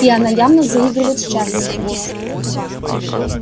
и она явно заигрывает с чарльзом